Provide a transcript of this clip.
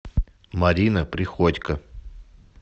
марина приходько